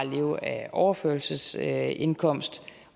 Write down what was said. leve af overførselsindkomst